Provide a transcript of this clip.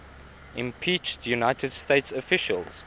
impeached united states officials